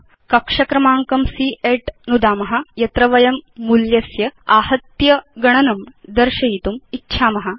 अधुना कक्ष क्रमाङ्कं C8नुदाम यत्र वयं मूल्यस्य आहत्य गणनं दर्शयितुम् इच्छाम